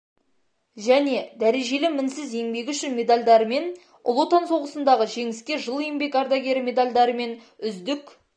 және дәрежелі мінсіз еңбегі үшін медальдарымен ұлы отан соғысындағы жеңіске жыл еңбек ардагері медальдарымен үздік